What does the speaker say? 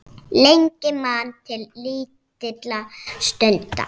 Lengi man til lítilla stunda